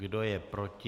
Kdo je proti?